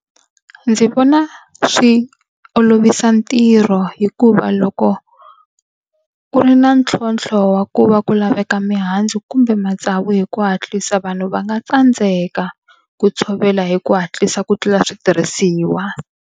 Ndzi vona swi olovisa ntirho hikuva loko ku ri na ntlhontlho wa ku va ku laveka mihandzu kumbe matsavu hi ku hatlisa vanhu va nga tsandzeka ku tshovela hi ku hatlisa ku tlula switirhisiwa.